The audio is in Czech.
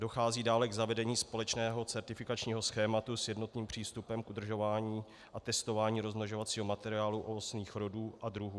Dochází dále k zavedení společného certifikačního schématu s jednotným přístupem k udržování a testování rozmnožovacího materiálu ovocných rodů a druhů.